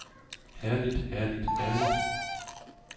herligt herligt herligt